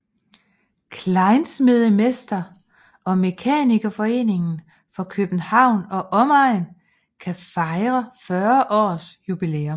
Kleinsmedemester og Mekanikerforeningen for København og Omegn kan fejre 40 års jubilæum